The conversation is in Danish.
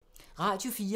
Radio 4